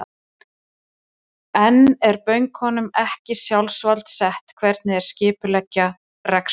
En er bönkunum ekki sjálfsvald sett hvernig þeir skipuleggja rekstur sinn?